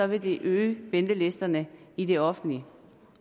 vil øge ventelisterne i det offentlige